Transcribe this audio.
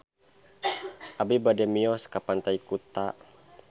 Abi bade mios ka Pantai Kuta